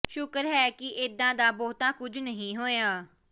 ਸ਼ੁਕਰ ਹੈ ਕਿ ਏਦਾਂ ਦਾ ਬਹੁਤਾ ਕੁਝ ਨਹੀਂ ਹੋਇਆ